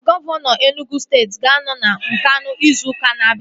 Gọvanọ Enugwu steeti ga-anọ na Nkanụ ịzụ ụka na-abia